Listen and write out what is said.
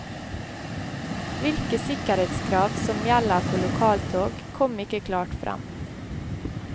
Hvilke sikkerhetskrav som gjelder for lokaltog, kom ikke klart frem.